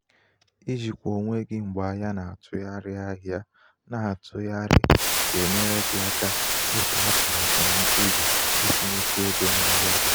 ijikwa onwe gị mgbe ahịa na -atụgharị ahịa na -atụgharị um ga-enyere gị aka ịtụ atụmatụ na mkpebi um itinyekwu égo n'ahịa gị.